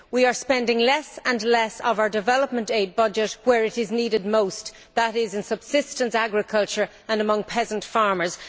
We are spending less and less of our development aid budget where it is needed most that is, in subsistence agriculture and among peasant farmers.